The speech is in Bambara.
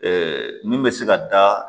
min bɛ se ka da